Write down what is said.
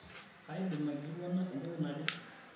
kaidim aikilikuana entoki naje